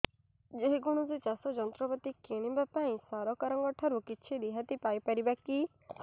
ଯେ କୌଣସି ଚାଷ ଯନ୍ତ୍ରପାତି କିଣିବା ପାଇଁ ସରକାରଙ୍କ ଠାରୁ କିଛି ରିହାତି ପାଇ ପାରିବା କି